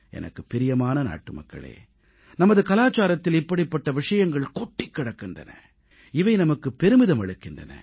எனக்குப் பிரியமான நாட்டுமக்களே நமது கலாச்சாரத்தில் இப்படிப்பட்ட விஷயங்கள் கொட்டிக் கிடக்கின்றன இவை நமக்குப் பெருமிதம் அளிக்கின்றன